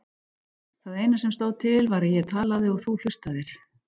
Það eina sem stóð til var að ég talaði og þú hlustaðir.